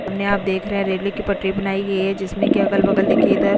सामने आप देख रहे हैं रेल्वे की पटरी बनाई गई है जिसमें कि अगल बगल देखिए इधर --